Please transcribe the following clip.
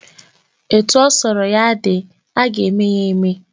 Etu ọ sọrọ ya dị, aga eme ya eme